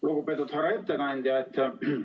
Lugupeetud härra ettekandja!